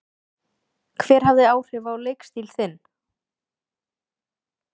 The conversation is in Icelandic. Hver hafði áhrif á leikstíl þinn?